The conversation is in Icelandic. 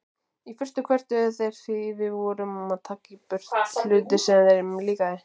Í fyrstu kvörtuðu þeir því við vorum að taka í burtu hluti sem þeim líkaði.